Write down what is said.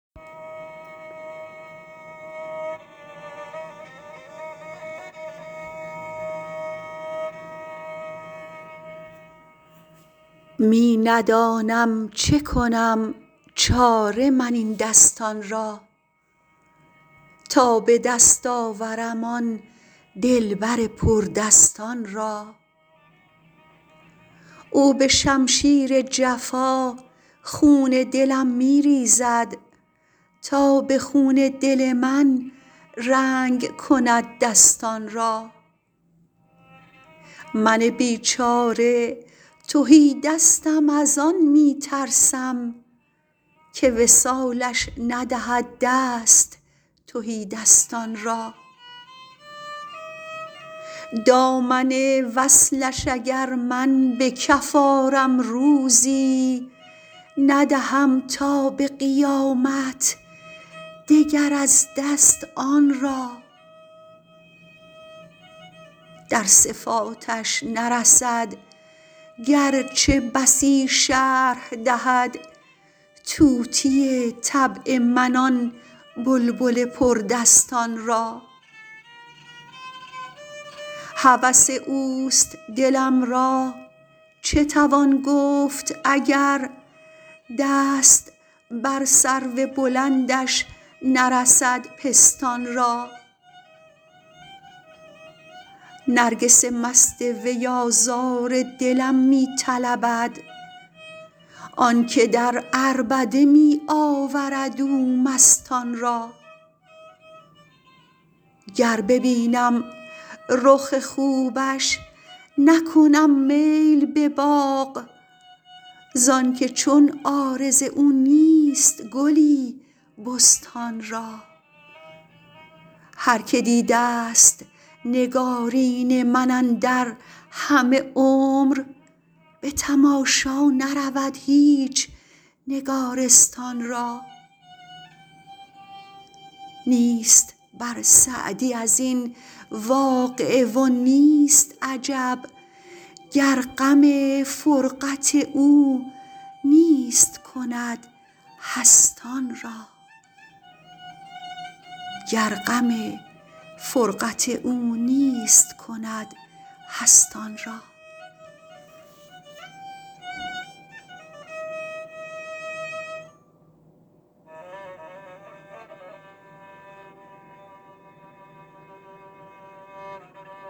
می ندانم چه کنم چاره من این دستان را تا به دست آورم آن دلبر پردستان را او به شمشیر جفا خون دلم می ریزد تا به خون دل من رنگ کند دستان را من بیچاره تهیدستم از آن می ترسم که وصالش ندهد دست تهیدستان را دامن وصلش اگر من به کف آرم روزی ندهم تا به قیامت دگر از دست آن را در صفاتش نرسد گرچه بسی شرح دهد طوطی طبع من آن بلبل پردستان را هوس اوست دلم را چه توان گفت اگر دست بر سرو بلندش نرسد پستان را نرگس مست وی آزار دلم می طلبد آنکه در عربده می آورد او مستان را گر ببینم رخ خوبش نکنم میل به باغ زانکه چون عارض او نیست گلی بستان را هر که دیدست نگارین من اندر همه عمر به تماشا نرود هیچ نگارستان را نیست بر سعدی از این واقعه و نیست عجب گر غم فرقت او نیست کند هستان را